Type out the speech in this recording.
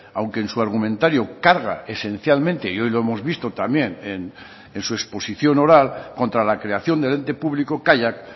aunque en su argumentario carga esencialmente y hoy lo hemos visto también en su exposición oral contra la creación del ente público kaiak